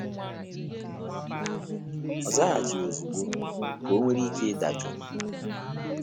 Ọ zaghachighi ozigbo, ka o nwere ike ịdajuu